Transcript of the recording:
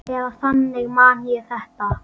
Eða þannig man ég þetta.